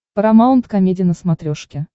парамаунт комеди на смотрешке